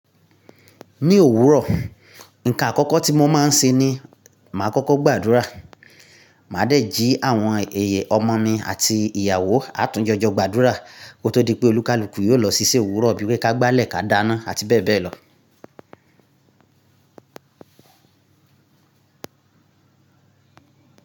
Ní òwúrọ̀, nǹkan àkọ́kọ́ tí mo máa ń ṣe ni màá kọ́kọ́ gbàdúrà. Màá dẹ̀ jí àwọn ẹ̀yẹ ọmọ mi àti ìyàwó, á tún jọjọ gbàdúrà kó tó di pé olúkàlùkù yóò lọ ṣiṣẹ́ òwúrọ̀ bíi pé ká gbálẹ̀ ká dáná àti bẹ́ẹ̀ bẹ́ẹ̀ lọ.